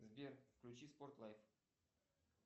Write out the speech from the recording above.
сбер включи спорт лайф